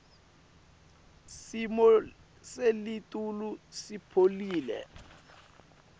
simo selitulu sipholile